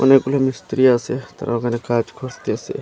অনেকগুলো মিস্ত্রী আসে তারা ওখানে কাজ খুঁজতেসে।